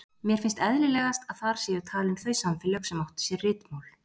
Mér finnst eðlilegast að þar séu talin þau samfélög sem áttu sér ritmál.